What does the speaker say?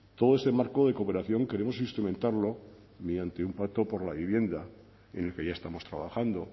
todo ese marco de cooperación queremos instrumentarlo mediante un pacto por la vivienda en el que ya estamos trabajando